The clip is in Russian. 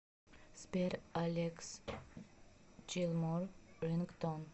сбер алекс джилмор рингтон